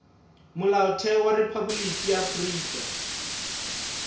molaotheo wa rephaboliki ya afrika